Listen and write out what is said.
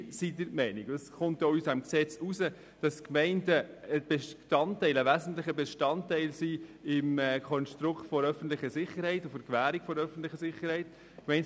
Wir sind der Meinung, und das geht auch aus dem Gesetz hervor, dass die Gemeinden ein wesentlicher Bestandteil im Konstrukt für die Gewährung der öffentlichen Sicherheit sind.